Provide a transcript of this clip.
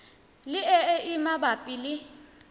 le e e mabapi le